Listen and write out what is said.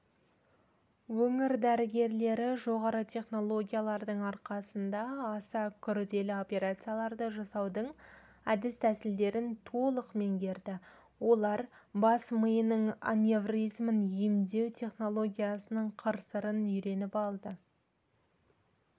өңір дәрігерлері жоғары технологиялардың арқасында аса күрделі операцияларды жасаудың әдіс-тәсілдерін толық меңгерді олар бас миының аневризмін емдеу технологиясының қыр-сырын үйреніп алды